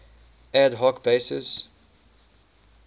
ad hoc basis